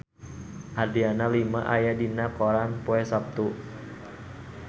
Adriana Lima aya dina koran poe Saptu